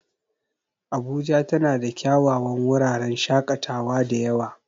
Abuja tana da kyawawan wuraren shaƙatawa da yawa.